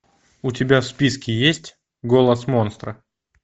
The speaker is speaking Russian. у тебя в списке есть голос монстра